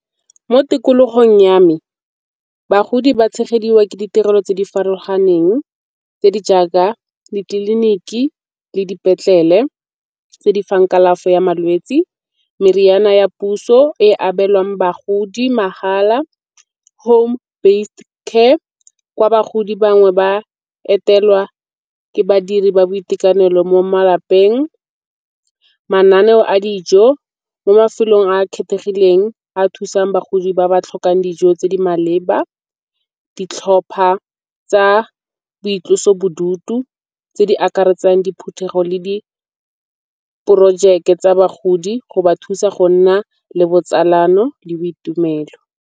Mo tikologong ya me bagodi ba tshegediwa ke ditirelo tse di farologaneng tse di jaaka ditleliniki le dipetlele tse di fang kalafo ya malwetse. Meriana ya puso e abelwang bagodi mahala, home-based care kwa bagodi bangwe ba etelwa ke badiri ba boitekanelo mo malapeng. Mananeo a dijo mo mafelong a a kgethegileng a thusang bagodi ba ba tlhokang dijo tse di maleba. Ditlhopha tsa boitlosobodutu tse di akaretsang diphuthego le diporojeke tsa bagodi go ba thusa go nna le botsalano le boitumelo.